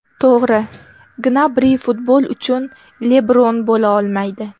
To‘g‘ri, Gnabri futbol uchun Lebron bo‘la olmaydi.